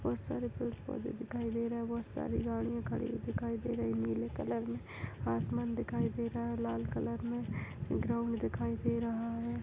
बहोत सारे पेड़ - पौधे दिखाई दे रहे है बहोत सारी गाड़ियां खड़ी हुई दिखाई दे रही है नीले कलर में आसमान दिखाई दे रहा है लाल कलर में ग्राउन्ड दिखाई दे रहा है।